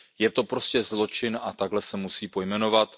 Je to prostě zločin a takto se musí pojmenovat.